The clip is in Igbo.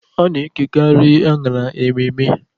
A na-ekekarị anyara mmemme.